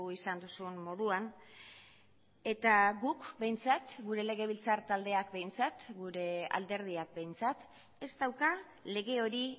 izan duzun moduan eta guk behintzat gure legebiltzar taldeak behintzat gure alderdiak behintzat ez dauka lege hori